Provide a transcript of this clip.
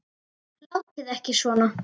Látið ekki svona.